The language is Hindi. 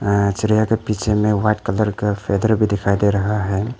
चिड़ियां के पीछे में व्हाइट कलर फेदर भी दिखाई दे रहा है।